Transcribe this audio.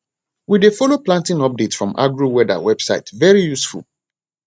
we dey follow planting update from agroweather website very useful